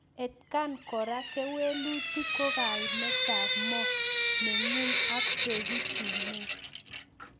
Atkaen koraa kewelutik ko kaimetab moo kengung ak peguu sumek